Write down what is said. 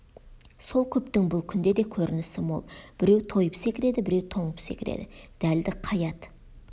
сол көптің бұл күнде де көрінісі мол біреу тойып секіреді біреу тоңып секіреді дәлді қай ат